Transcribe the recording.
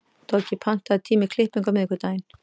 Toggi, pantaðu tíma í klippingu á miðvikudaginn.